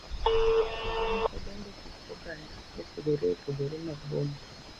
Kendo ne odongo kit oganda mopogore opogore mag boma,